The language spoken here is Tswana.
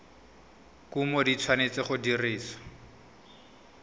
kumo di tshwanetse go dirisiwa